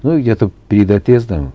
ну я тут перед отъездом